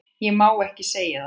Ég má ekki segja það